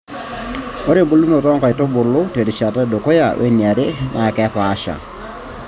Ore embulunoto oo nkaitubulu te rishata edukuya weniare naa kapaasha.